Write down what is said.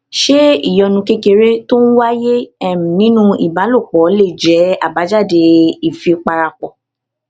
ṣé ìyọnu kékeré tó ń wáyé um nínú ìbálòpọ̀ lè jé àbájáde ìfipárapọ̀